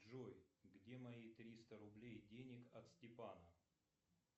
джой где мои триста рублей денег от степана